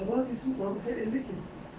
руслан люди